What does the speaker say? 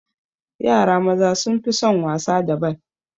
Yara maza sun fi son wasa da bal